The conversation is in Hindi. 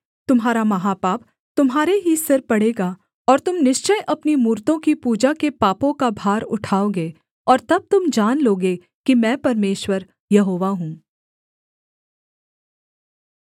तुम्हारा महापाप तुम्हारे ही सिर पड़ेगा और तुम निश्चय अपनी मूरतों की पूजा के पापों का भार उठाओगे और तब तुम जान लोगे कि मैं परमेश्वर यहोवा हूँ